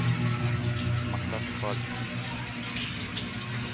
Martha Mikalsen